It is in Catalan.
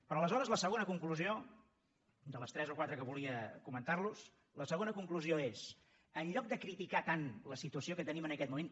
però aleshores la segona conclusió de les tres o quatre que volia comentar los és en lloc de criticar tant la situació que tenim en aquest moment